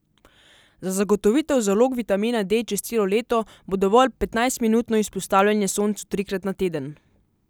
Za zagotovitev zalog vitamina D čez celo leto, bo dovolj petnajstminutno izpostavljanje soncu trikrat na teden.